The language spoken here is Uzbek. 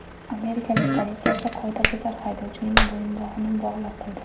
Amerikalik politsiyachi qoidabuzar haydovchining bo‘yinbog‘ini bog‘lab qo‘ydi .